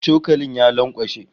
Cokalin ya lankwashe